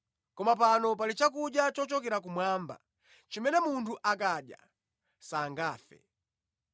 Koma pano pali chakudya chochokera kumwamba, chimene munthu akadya sangafe.